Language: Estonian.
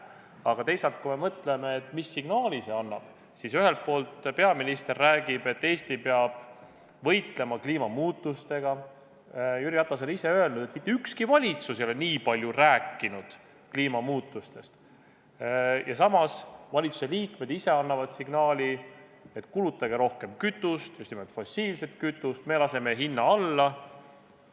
Aga teisalt, kui me mõtleme, siis mis signaali see annab, kui ühelt poolt peaminister räägib, et Eesti peab võitlema kliimamuutustega – Jüri Ratas on ise öelnud, et mitte ükski valitsus ei ole nii palju rääkinud kliimamuutustest –, ja samas valitsuse liikmed ise annavad signaali, et kulutage rohkem kütust, just nimelt fossiilset kütust, me laseme hinna alla?